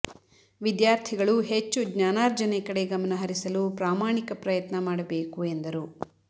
ವಿದ್ಯಾರ್ಥಿಗಳು ಹೆಚ್ಚು ಜ್ಞಾನಾರ್ಜನೆ ಕಡೆ ಗಮನ ಹರಿಸಲು ಪ್ರಾಮಾಣಿಕ ಪ್ರಯತ್ನ ಮಾಡಬೇಕು ಎಂದರು